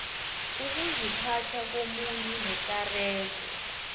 ukuziphatha komuntu nekareko